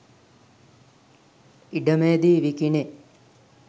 ඉඩමේදී විකිණේ